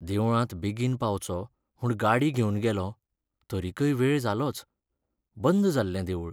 देवळांत बेगीन पावचो म्हूण गाडी घेवन गेलों, तरीकय वेळ जालोच. बंद जाल्लें देवूळ.